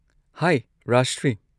ꯍꯥꯏ Rajshri.